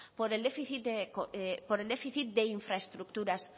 por el déficit de infraestructuras